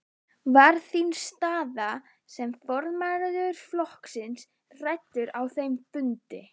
Var þín staða sem formaður flokksins rædd á þeim fundi?